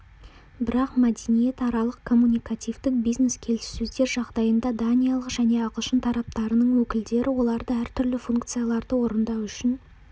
бірақ мәдениетаралық коммуникативтік бизнес-келіссөздер жағдайында даниялық және ағылшын тараптарының өкілдері оларды әртүрлі функцияларды орындау үшін